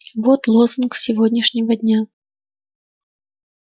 вот лозунг сегодняшнего дня